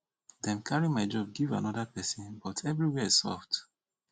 dey carry my job give another person but everywhere soft